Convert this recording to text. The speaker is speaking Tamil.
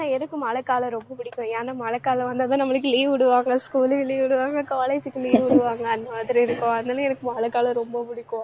ஆனா, எதுக்கு மழைக்காலம் ரொம்ப புடிக்கும் ஏன்னா மழைக்காலம் வந்தாதான் நம்மளுக்கு leave விடுவாங்க school க்கு leave விடுவாங்க college க்கு leave விடுவாங்க. அந்த மாதிரி இருக்கும். அதனால எனக்கு மழைக்காலம் ரொம்ப பிடிக்கும்